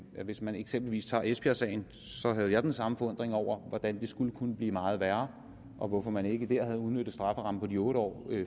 at hvis man eksempelvis tager esbjergsagen havde jeg den samme forundring over hvordan det skulle kunne blive meget værre og hvorfor man ikke der havde udnyttet strafferammen på de otte år